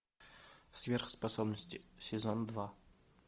сверхспособности сезон два